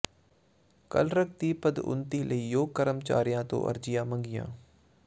clerk ਦੀ ਪਦਉੱਨਤੀ ਲਈ ਯੋਗ ਕਰਮਚਾਰੀਆਂ ਤੋਂ ਅਰਜ਼ੀਆਂ ਮੰਗੀਆਂ